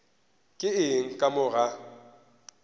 ke eng ka mo ga